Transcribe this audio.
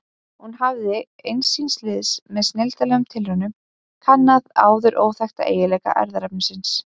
Hún hafði ein síns liðs með snilldarlegum tilraunum kannað áður óþekkta eiginleika erfðaefnisins.